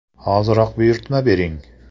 Hoziroq buyurtma bering!.